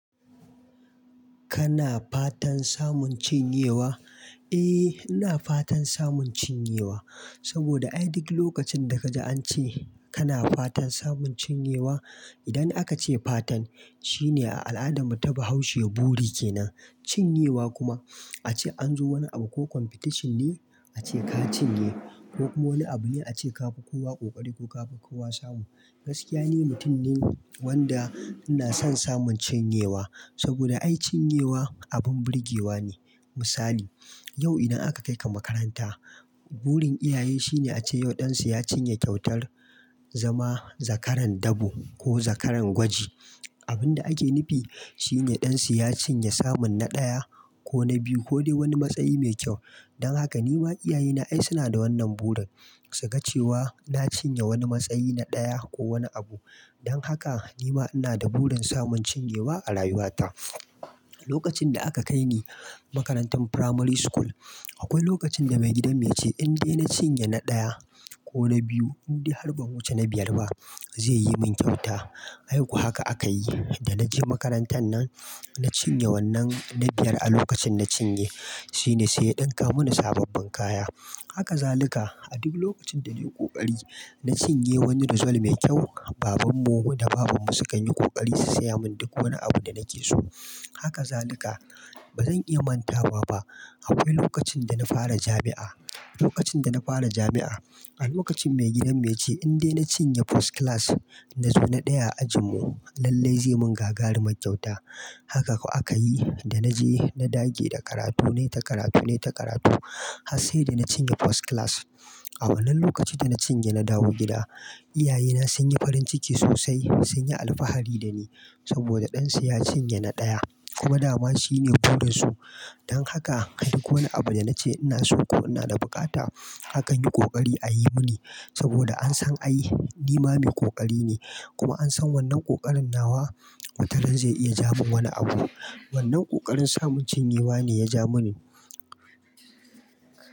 Kana fatan samun cinyewa? Eh, ina fatan samun cinyewa. Saboda ai duk lokacin daka ji an ce kana fatan samun cinyewa, idan aka ce fatan shine a al'adan mu ta bahaushe buri kenan. Cinyewa kuma an ce an zo wani abu ko competition ne a ce ka cinye ko kuma wani abu ne a ce ka fi kowa ƙoƙari ko ka fi kowa samu. Gaskiya ne, mutun ne wanda ina son samun cinyewa. Saboda ai cinyewa abin burgewa ne. Misali, yau idan aka kai ka makaranta, burin iyaye shine a ce yau ɗan su ya cinye kyautar zama zakaran dabo ko zakaran gwaji. Abin da ake nufi shine ɗan su ya cinye samun na ɗaya ko na biyu ko dai wani matsayi mai kyau. Dan haka ni ma iyaye na ai suna da wannan burin, saga cewa na cinye wani matsayi na ɗaya ko wani abu. Dan haka ni ma ina da burin samun cinyewa a rayuwata. Lokacin da aka kai ni makarantan Primary School, akwai lokacin da maigidan mu ya ce in dai na cinye na ɗaya ko na biyu, in dai har ban wuce na biyar ba, zai yi min kyauta. Ai ko haka aka yi, da na je makarantan nan na cinye wannan na biyar a lokacin na cinye. Shine sai ya ɗinka mana sababbin kaya. Haka zalika a duk lokacin da nayi ƙoƙari na cinye wani resul mai kyau, babanmu da babanmu sukan yi ƙoƙari su saya mun duk wani abu da nake so. Haka zalika bazan iya mantawa ba. Akwai lokacin da na fara jami'a, lokacin da na fara jami'a, a lokacin mai gidan mu ya ce in dai na cinye First Class, na zo na ɗaya a ajin mu, lallai zai mun gagarumar kyauta. Haka ko aka yi, da na je na dage da karatu, nai ta karatu, nai ta karatu har sai da na cinye First Class. A wannan lokacin da na cinye na dawo gida, iyaye na sun yi farin ciki sosai, sun yi alfahari da ni saboda ɗan su ya cinye na ɗaya. Kuma dama shine burin su. Dan haka duk wani abu da na ce ina so ko ina da buƙata, haka an yi ƙoƙari a yi mini saboda an san ai ni ma mai ƙoƙari ne. Kuma an san wannan ƙoƙarin nawa wataran zai iya ja mun wani abu. Wannan ƙoƙarin samun cinyewa ne ya ja mun.